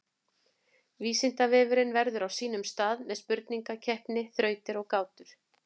Vísindavefurinn verður á sínum stað með spurningakeppni, þrautir og gátur.